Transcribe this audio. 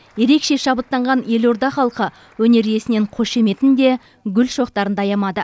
ерекше шабыттанған елорда халқы өнер иесінен қошеметін де гүл шоқтарын да аямады